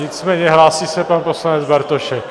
Nicméně hlásí se pan poslanec Bartošek.